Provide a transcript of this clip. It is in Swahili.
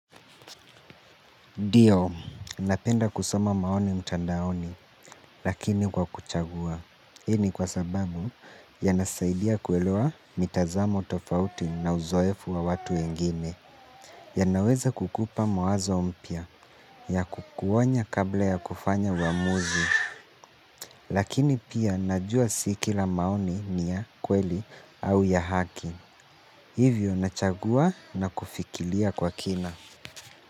Ndio, napenda kusoma maoni mtandaoni, lakini kwa kuchagua. Hii ni kwa sababu, yanasaidia kueloa mitazamo tofauti na uzoefu wa watu wengine. Yanaweza kukupa mawazo mpya, ya kukuonya kabla ya kufanya uamuzi. Lakini pia, najua si kila maoni ni ya kweli au ya haki. Hivyo, nachagua na kufikiria kwa kina.